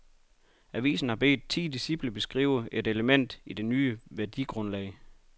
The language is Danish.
Avisen har bedt ti disciple beskrive et element i det nye værdigrundlag.